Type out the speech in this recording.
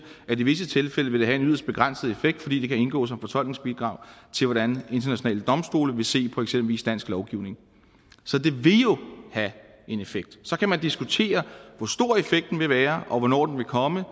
at i visse tilfælde vil det have en yderst begrænset effekt fordi det kan indgå som fortolkningsbidrag til hvordan internationale domstole vil se på eksempelvis dansk lovgivning så det vil jo have en effekt så kan man diskutere hvor stor effekten vil være og hvornår den vil komme